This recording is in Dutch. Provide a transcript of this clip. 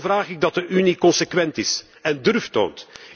Daarom vraag ik dat de Unie consequent is en durf toont.